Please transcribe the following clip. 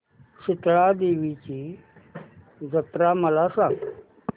शितळा देवीची जत्रा मला सांग